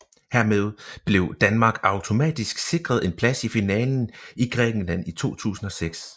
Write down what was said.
Hermed blev Danmark automatisk sikret en plads i finalen i Grækenland i 2006